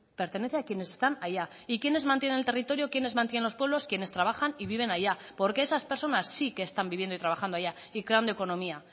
pertenece a quienes están allá y quienes mantienen el territorio quienes mantienen los pueblos quienes trabajan y viven allá porque esas personas sí que están viviendo y trabajando allá y creando economía